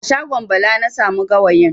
A shagon Bala na samu gawayin.